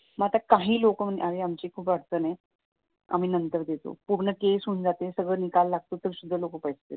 मग आता काही लोक नाही आता आमची खूप अडचण आहे आम्ही नंतर देतो पूर्ण केस होऊन जाते निकाल लागतो तरी सुद्धा लोक पैसे देत नाहीत